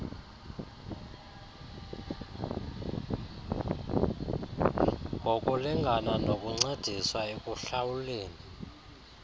ngokulingabna nokuncediswa ekuhlawuleni